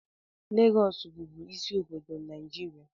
Lagos bubu ịsị obodo Naijiria